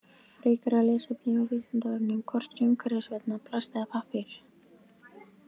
Frekara lesefni á Vísindavefnum: Hvort er umhverfisvænna, plast eða pappír?